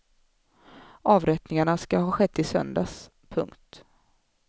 Avrättningarna ska ha skett i söndags. punkt